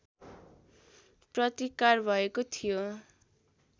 प्रतिकार भएको थियो